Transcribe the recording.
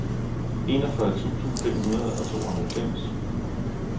enogfyrre tusind fem hundrede og tooghalvfems